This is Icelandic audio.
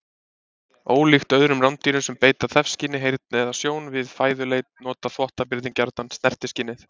Ólíkt öðrum rándýrum sem beita þefskyni, heyrn eða sjón við fæðuleit, nota þvottabirnir gjarnan snertiskynið.